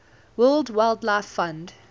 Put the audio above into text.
world wildlife fund